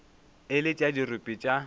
e le tša dirope tša